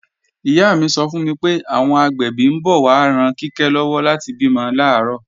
Ìyá mi sọ fún mi pé, àwọn agbẹ̀bí ń bọ̀ wá ran Kíkẹ́ lọ́wọ́ láti bímọ làárọ̀